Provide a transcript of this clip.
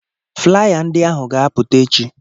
Flaya ndị ahụ ga-apụta echi.